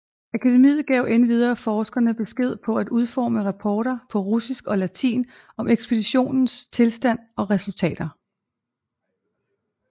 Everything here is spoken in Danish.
Akademiet gav endvidere forskerne besked på at udforme rapporter på russisk og latin om ekspeditionens tilstand og resultater